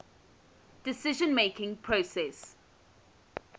decision making process